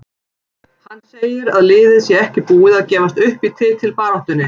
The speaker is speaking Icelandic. Hann segir að liðið sé ekki búið að gefast upp í titilbaráttunni.